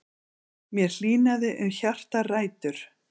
Mér hlýnaði um hjartarætur.